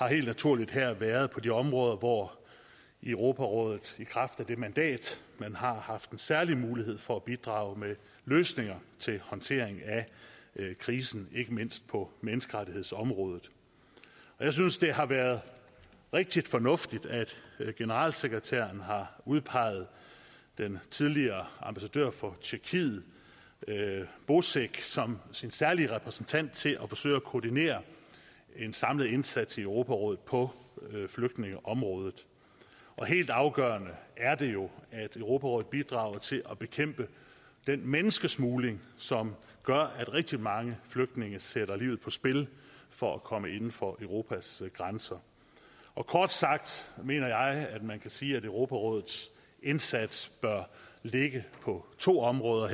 helt naturligt været på de områder hvor europarådet i kraft af det mandat man har har haft en særlig mulighed for at bidrage med løsninger til håndteringen af krisen ikke mindst på menneskerettighedsområdet jeg synes det har været rigtig fornuftigt at generalsekretæren har udpeget den tidligere ambassadør for tjekkiet bocek som sin særlige repræsentant til at forsøge at koordinere en samlet indsats i europarådet på flygtningeområdet og helt afgørende er det jo at europarådet bidrager til at bekæmpe den menneskesmugling som gør at rigtig mange flygtninge sætter livet på spil for at komme inden for europas grænser kort sagt mener jeg at man kan sige at europarådets indsats bør ligge på to områder